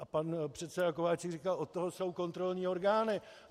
A pan předseda Kováčik říkal: Od toho jsou kontrolní orgány.